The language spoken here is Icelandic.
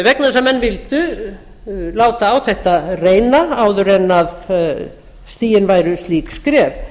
vegna þess að menn vildu láta á þetta reyna áður en stigin væru slík skref